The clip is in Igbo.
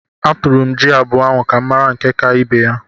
Atụrụ m jị abụọ ahụ ka m mara nke ka ibe ya.